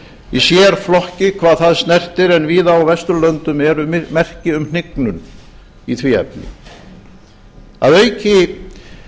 í sérflokki hvað það snertir en víða á vesturlöndum eru merki um hnignun í því efni að auki